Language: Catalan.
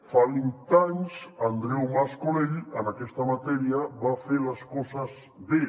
fa vint anys andreu mas colell en aquesta matèria va fer les coses bé